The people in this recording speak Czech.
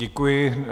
Děkuji.